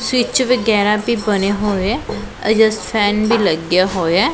Switch ਵਗੈਰਾ ਵੀ ਬਣੇ ਹੋਏ ਆ ਐਡਜਸਟ ਫੈਨ ਵੀ ਲੱਗ ਗਿਆ ਹੋਇਆ।